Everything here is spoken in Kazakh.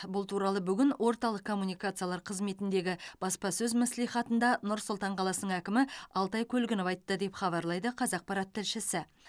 бұл туралы бүгін орталық коммуникациялар қызметіндегі баспасөз мәслихатында нұр сұлтан қаласының әкімі алтай көлгінов айтты деп хабарлайды қазақпарат тілшісі